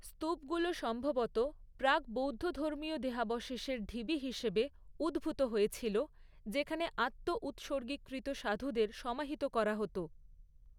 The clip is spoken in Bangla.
স্তূপগুলো সম্ভবত প্রাক বৌদ্ধধর্মীয় দেহাবশেষের ঢিবি হিসেবে উদ্ভূত হয়েছিল যেখানে আত্ন উৎসর্গীকৃত সাধুদের সমাহিত করা হত।